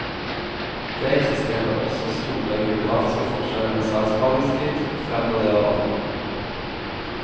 Det eksisterer også store geografiske forskjeller i saksbehandlingstid, fremgår det av rapporten.